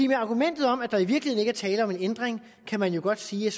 med argumentet om at der i virkeligheden ikke er tale om en ændring kan man jo godt sige at